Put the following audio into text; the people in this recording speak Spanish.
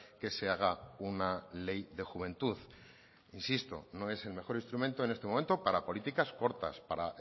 que se haga una ley de juventud insisto no es el mejor instrumento en este momento para políticas cortas para